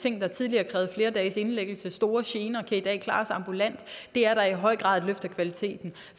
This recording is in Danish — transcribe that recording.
ting der tidligere krævede flere dages indlæggelse og store gener kan i dag klares ambulant det er da i høj grad et løft af kvaliteten